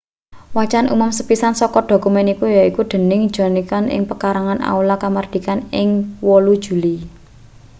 wacan umum sepisan saka dokumen iku yaiku dening john nixon ing pekarangan aula kamardikan ing 8 juli